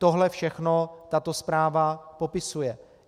Tohle všechno tato zpráva popisuje.